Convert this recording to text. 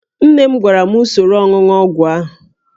Nne m gwara m usoro ọnụnụ ọgwụ ahụ